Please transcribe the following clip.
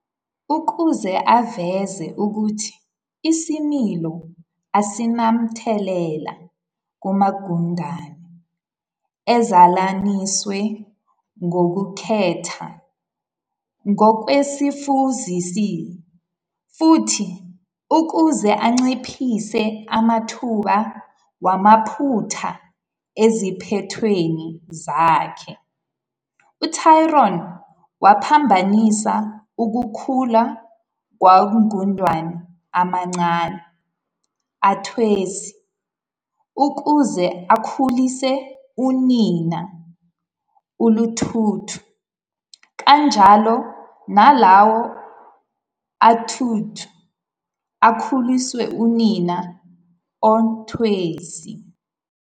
Ukuze aveze ukuthi isimilo asinamthelela kumagundane ezalaniswe ngokukhetha ngokwezifuzisi, futhi ukuze anciphise amathuba wamaphutha eziphethweni zakhe, uTryon waphambanisa ukukhula kwagundane amancane "antwesi", ukuze akhuliswe unina "oluthuntu", kanjalo nalawo "aluthuntu" akhuliswe unina "ontwesi".